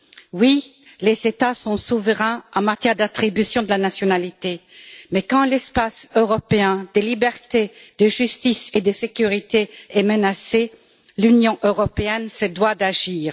Oui, les États sont souverains en matière d'attribution de la nationalité, mais quand l'espace européen de liberté, de justice et de sécurité est menacé, l'Union européenne se doit d'agir.